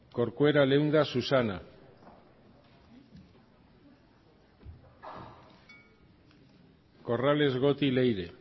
corcuera leunda susana corrales goti leire